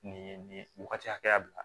Nin nin wagati hakɛya la